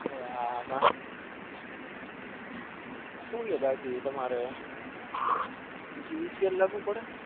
હા હા હું હ બાકી તમારે બીજું સુ લાગુ પડે